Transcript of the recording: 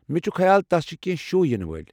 مےٚ چھُ خیال تس چھِ كینہہ شو ینہٕ وٲلۍ ۔